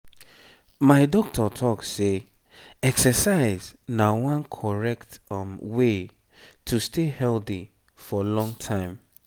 my doctor talk say exercise na one correct way to stay healthy for long time.